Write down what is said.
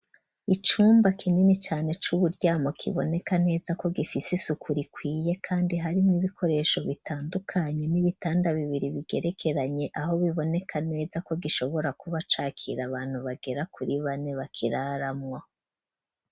Icumba kinini cane c'uburyamo kiboneka neza ko gifise isuku rikwiye kandi hari n'ibikpresho bitandukanye, n'ibitanda bibiri bigerekeranye aho biboneka neza ko gishobora kuba cakira abantu barenga kuri bane. bakiraramwo.